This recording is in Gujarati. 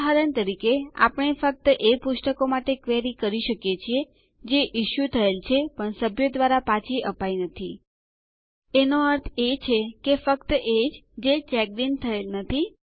ઉદાહરણ તરીકે આપણે ફક્ત એ પુસ્તકો માટે ક્વેરી કરી શકીએ છીએ જે ઇસ્યુ થયેલ છે પણ સભ્યો દ્વારા પાછી અપાઈ નથી જેનો અર્થ એ છે કે ફક્ત એજ જે ચેક્ડ ઇન થયેલ નથી